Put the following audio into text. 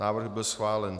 Návrh byl schválen.